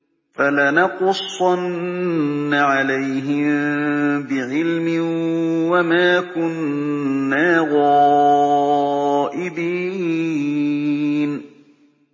فَلَنَقُصَّنَّ عَلَيْهِم بِعِلْمٍ ۖ وَمَا كُنَّا غَائِبِينَ